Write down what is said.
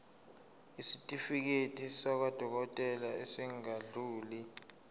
isitifiketi sakwadokodela esingadluli